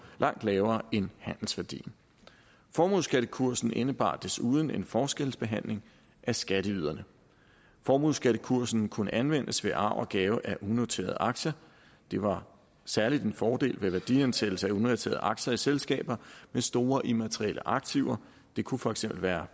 langt lavere end handelsværdien formueskattekursen indebar desuden en forskelsbehandling af skatteyderne formueskattekursen kunne anvendes ved arv og gave af unoterede aktier det var særlig en fordel ved værdiansættelse af unoterede aktier i selskaber med store immaterielle aktiver det kunne for eksempel være